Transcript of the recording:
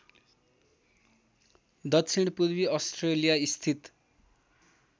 दक्षिणपूर्वी अस्ट्रेलिया स्थित